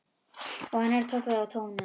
Og annar tók við og tónaði: